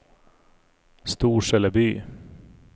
Storseleby